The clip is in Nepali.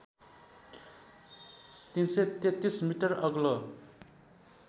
३३३ मिटर अग्लो